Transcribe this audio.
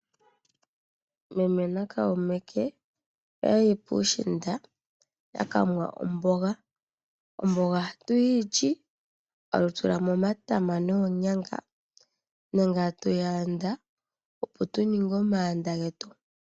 Meme nakaume ke oya yi puushinda yaka nwa omboga. Omboga ohatu yi li, tatu tulamo omatama noonyanga nenge tatu yi yanda opo tuninge omaanda getu.